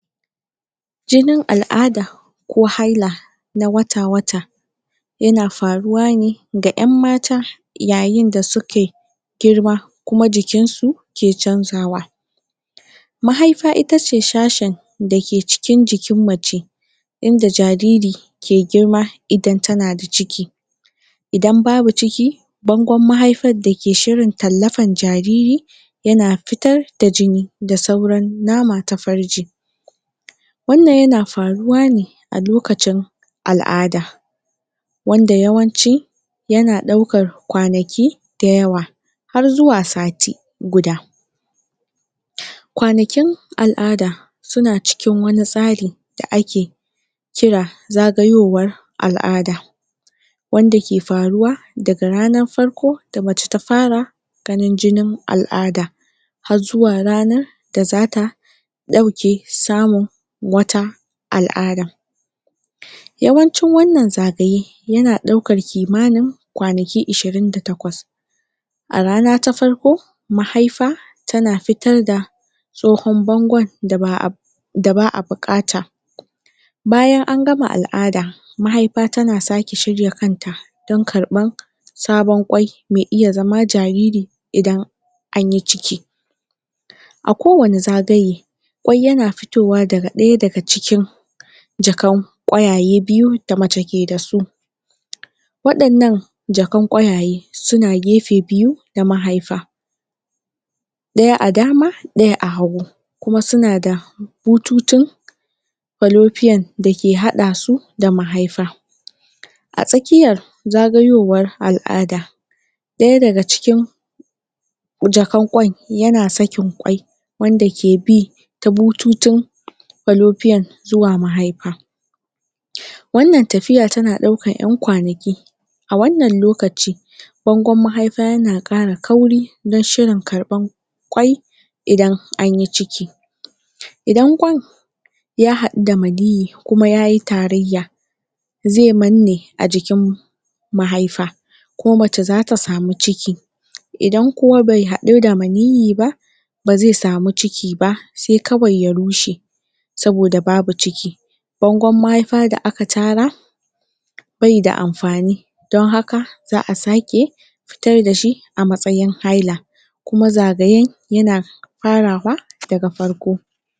jin al'ada ko haila na wata wata yana faruwa ne da yan mata ya yin da suke girma kuma jikinsu ke chanzawa mahaifa itace sashen da dake cikin jikin mace inda jariri ke ke girma idan tana da ciki idan babu ciki bangon mahaifan da ke shirin tallafan jariri yana fitar da jini da suaran nama ta farji wannan yana faruwa ne a lokacin al'ada wanda yawanci yana daukar kwanaki kwanaki da yawa har zuwa sati guda kwanakin al'ada suna cikin wani tsari da ake kira zagayowar al'ada wanda ke faruwa daga rannan farko da amce ta fara ganin jinin al'ada har zuwa rana da zata dauke samun wata al'ada yawancin wannan zagaye yana daukar kimanin kwanaki ishirin da takwas a rana ta farko mahaifa tana fitar da tsohon bangon da ba da baa bukata bayan an gama al'ada mahaifa tana sake shirya kanta don karban sabon kwai\ me iya xama jariri idan anyi ciki a kowani zagaye kwai yana fitowa daga daya daga cikin jakan qwayaye biyu da mace ke dasu wadannan jakan kwayaye suna gefe biyu da mahaifa daya a dama daya a hagu kuma suna da bututun falopian dake hada su da mahaifa a tsakiyar zagayowar al'ada daya daga cikin yana sakin kwai wanda ke bi ta bututun falopian zuwa mahaifa wannan tafiya yana daukan yan kwanaki a wannan lokaci bangon mahaifa yana kara kauri dan shirin karban kwai idan anyi ciki idan kwan ya hadu da maniyyi kuma yayi tarayya zai manne a jikin mahaifa ko mace zata samu ciki idan kuma be hadu da maniyyi ba ba zai samu ciki ba sai kawai ya rushe saboda babu ciki bangon mahaifa da aka tara bai da amfani don haka za'a sake fitar dashi a matsayin haila kuma zagaye yana farawa daga farko